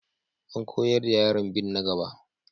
An koyar da yaran bin na gaba.